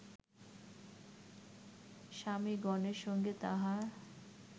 স্বামিগণের সঙ্গে তাঁহার